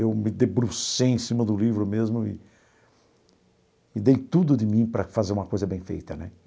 Eu me debrucei em cima do livro mesmo e e dei tudo de mim para fazer uma coisa bem feita né.